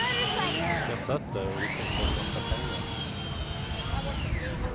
Jag satt där och det kostade en massa pengar.